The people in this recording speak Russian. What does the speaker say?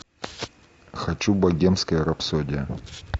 хочу богемская рапсодия